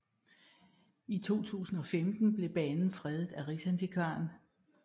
I 2015 blev banen fredet af Riksantikvaren